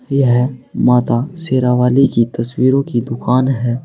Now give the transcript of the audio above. यह माता शेरावाली की तस्वीरों की दुकान है।